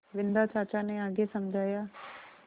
बिन्दा चाचा ने आगे समझाया